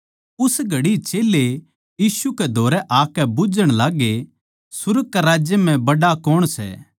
उस घड़ी चेल्लें यीशु कै धोरै आकै बुझ्झण लाग्गे सुर्ग कै राज्य म्ह बड्ड़ा कौण सै